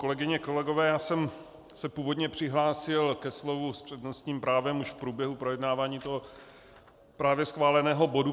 Kolegyně, kolegové, já jsem se původně přihlásil ke slovu s přednostním právem již v průběhu projednávání toho právě schváleného bodu.